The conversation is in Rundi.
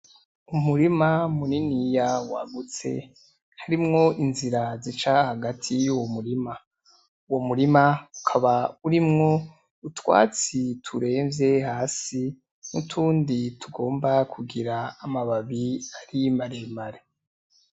Umurima muniniya wagutse harimwo inzira zica hagati yuwo murima uwo murima ukaba urimwo utwatsi turemvye hasi nutundi tugomba kugira amababi ari maremare.